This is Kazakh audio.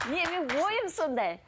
менің ойым сондай